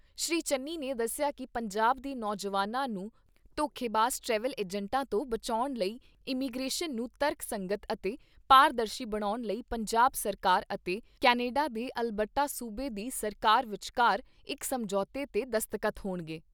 ਸ੍ਰੀ ਚੰਨੀ ਨੇ ਦੱਸਿਆ ਕਿ ਪੰਜਾਬ ਦੇ ਨੌਜਵਾਨਾਂ ਨੂੰ ਧੋਖੇਬਾਜ਼ ਟਰੈਵਲ ਏਜੰਟਾਂ ਤੋਂ ਬਚਾਉਣ ਲਈ ਇਮੀਗਰੇਸ਼ਨ ਨੂੰ ਤਰਕਸੰਗਤ ਅਤੇ ਪਾਰਦਰਸ਼ੀ ਬਣਾਉਣ ਲਈ ਪੰਜਾਬ ਸਰਕਾਰ ਅਤੇ ਕੈਨੇਡਾ ਦੇ ਅਲਬਰਟਾ ਸੂਬੇ ਦੀ ਸਰਕਾਰ ਵਿਚਕਾਰ ਇਕ ਸਮਝੌਤੇ ਤੇ ਦਸਤਖ਼ਤ ਹੋਣਗੇ।